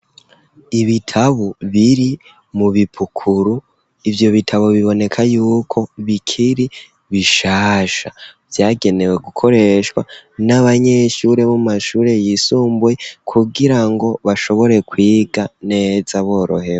Ibitabu biri mu bipukuru ivyo bitabo biboneka yuko bikiri bishasha byagenewe gukoreshwa n'abanyeshuri b'umashuri y'isumbuye kugira ngo bashobore kwiga neza borohewe.